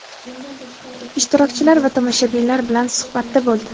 ishtirokchilar va tomoshabinlar bilan suhbatda bo‘ldi.